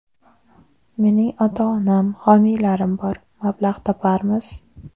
Mening ota-onam, homiylarim bor, mablag‘ toparmiz.